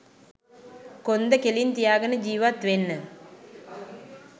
කොන්ද කෙලින් තියාගෙන ජිවත් වෙන්න